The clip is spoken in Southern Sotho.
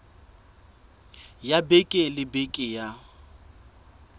ya beke le beke ya